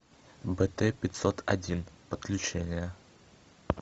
бт пятьсот один подключение